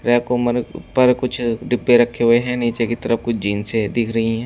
ऊपर कुछ डिब्बे रखे हुए हैं नीचे की तरफ कुछ जींस है दिख रही हैं।